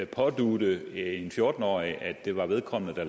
pådutte en fjorten årig at det var vedkommende der